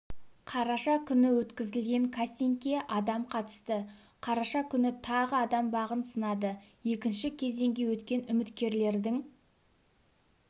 қараша күні өткізілген кастингке адам қатысты қараша күні тағы адам бағын сынады екінші кезеңге өткен үміткерлердің